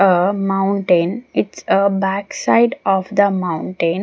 a mountain its a backside of the mountain.